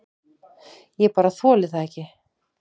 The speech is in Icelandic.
Ég bara þoli það ekki.